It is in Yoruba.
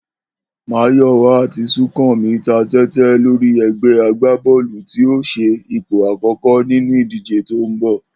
Máyò̩wá àti Súnkànmí ta té̩té̩ lórí e̩gbé̩ agbábó̩ò̩lù tí yóò s̩e ipò àkó̩kó̩ nínú ìdíje tó ń bò̩